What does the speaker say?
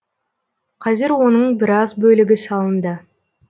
қазір оның біраз бөлігі салынды